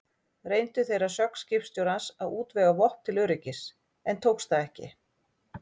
Reyndu þeir að sögn skipstjórans að útvega vopn til öryggis, en tókst það ekki.